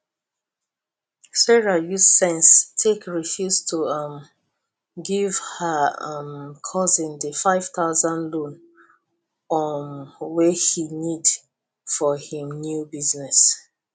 sarah use sense take refuse to um give her um cousin di 5000 loan um wey he need for him new business